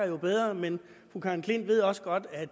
jo bedre men fru karen klint ved også godt at